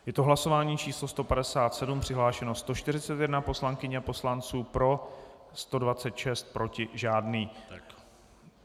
Je to hlasování číslo 157, přihlášeno 141 poslankyň a poslanců, pro 126, proti žádný.